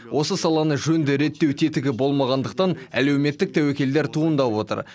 осы саланы жөнді реттеу тетігі болмағандықтан әлеуметтік тәуекелдер туындап отыр